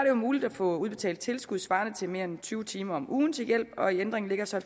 jo muligt at få udbetalt tilskud svarende til mere end tyve timer om ugen til hjælp og i ændringen ligger så